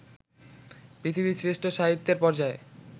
পৃথিবীর শ্রেষ্ঠ সাহিত্যের পর্যায়ে